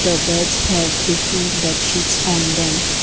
the beds have different bed sheets on them.